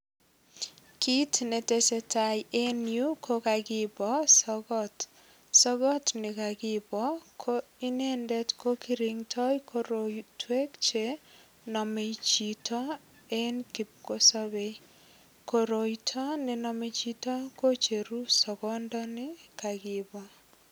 Kit netesetai eng yu kokipo sogot ne kakipo ko inendet ko kiringdoi kirotwek che nomei chito en kipkosobei eng koroito nename chito kocheru sogondoni kakipo.